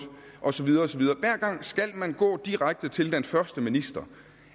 og så videre og så videre hver gang skal man gå direkte til den første minister